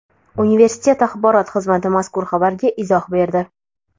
Universitet axborot xizmati mazkur xabarga izoh berdi .